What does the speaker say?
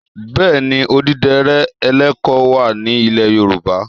Bẹ́ẹ̀ ni, àdìrẹ ẹlẹ́kọ wà ní ilẹ̀ Yorùbá.